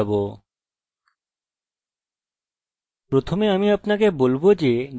আমি এই include function এক মিনিটে বোঝাবো